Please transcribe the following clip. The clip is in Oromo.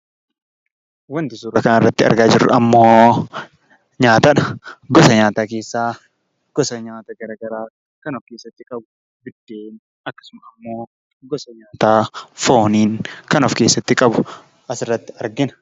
Wanti suuraa kana irratti argaa jirru ammoo nyaatadha. Gosa nyaataa keessaa gosa nyaata gara garaa kan of keessatti qabatudha. Biddeen akkasuma ammoo gosa nyaataa foonii kan of keessaatti qabu asirratti argina.